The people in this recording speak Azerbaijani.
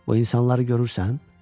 Bu insanları görürsən?